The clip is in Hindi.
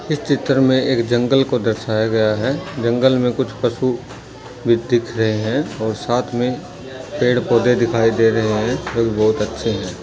इस चित्र में एक जंगल को दर्शया गया हैं जंगल में कुछ पशु भी दिख रहे हैं और साथ में पेड़ पौधे दिखाई दे रहे हैं जो कि बहोत अच्छे हैं।